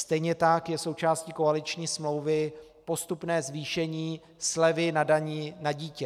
Stejně tak je součástí koaliční smlouvy postupné zvýšení slevy na dani na dítě.